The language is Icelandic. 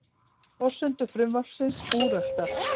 Forsendur frumvarpsins úreltar